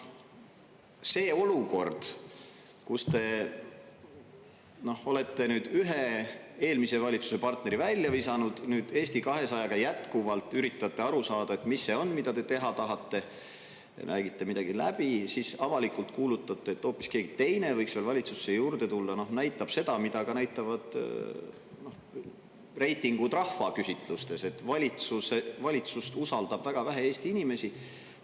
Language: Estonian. See olukord, kus te olete nüüd ühe eelmise valitsuse partneri välja visanud ja nüüd Eesti 200-ga jätkuvalt üritate aru saada, mis see on, mida te teha tahate, räägite midagi läbi, siis avalikult kuulutate, et hoopis keegi teine võiks veel valitsusse juurde tulla, näitab seda, mida näitavad ka reitingud rahvaküsitlustes – valitsust usaldab väga vähe Eesti inimesi.